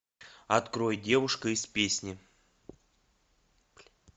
открой девушка из песни